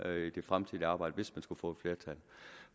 i det fremtidige arbejde hvis man skulle få et flertal